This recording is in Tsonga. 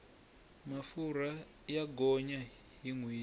mafurha ya gonya hi nhweti